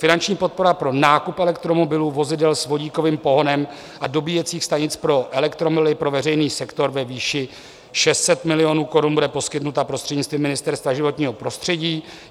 Finanční podpora pro nákup elektromobilů, vozidel s vodíkovým pohonem a dobíjecích stanic pro elektromobily pro veřejný sektor ve výši 600 milionů korun bude poskytnuta prostřednictvím Ministerstva životního prostředí.